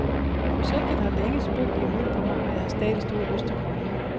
Projektet har længe spøgt i hovedet på mig, og jeg har stadig stor lyst til rollen.